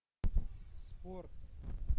спорт